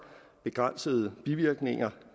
begrænsede bivirkninger